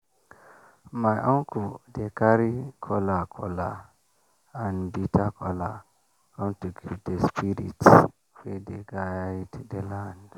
my uncle dey carry kola kola and bitter kola come to give the spirits wey dey guide the land.